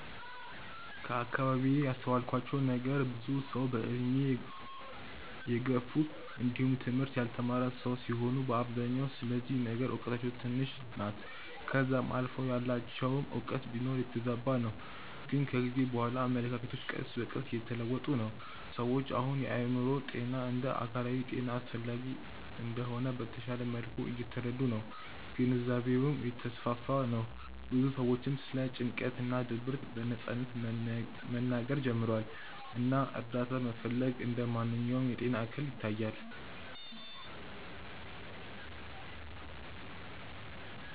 ከአከባቢዬ ያስተዋልኩት ነገር ብዙ ሰዉ በእድሜ የገፉ እንዲውም ትምህርት ያልተማረ ሰዉ ሲሆኑ በአብዛኛው ስለዚህ ነገር እውቀታቸው ትንሽ ናት ከዛም አልፎ ያላቸውም እውቀት ቢኖር የተዛባ ነው ግን ከጊዜ በኋላ አመለካከቶች ቀስ በቀስ እየተለወጡ ነው። ሰዎች አሁን የአእምሮ ጤና እንደ አካላዊ ጤና አስፈላጊ እንደሆነ በተሻለ መልኩ እየተረዱ ነው ግንዛቤውም እየተስፋፋ ነው ብዙ ሰዎችም ስለ ጭንቀት እና ድብርት በነጻነት መናገር ጀምረዋል እና እርዳታ መፈለግ እንደ ማንኛውም የጤና እክል ይታያል።